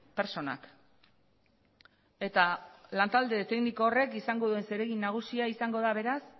pertsonak eta lantalde tekniko horrek izango duen zeregin nagusia izango da beraz